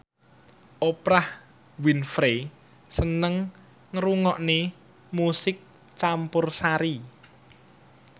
Oprah Winfrey seneng ngrungokne musik campursari